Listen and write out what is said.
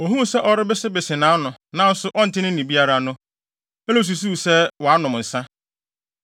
Ohuu sɛ ɔrebesebese nʼano, nanso ɔnte nne biara no, Eli susuw sɛ wanom nsa.